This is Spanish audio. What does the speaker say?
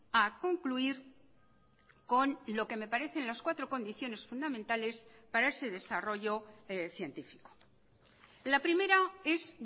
a concluir con lo que me parecen las cuatro condiciones fundamentales para ese desarrollo científico la primera es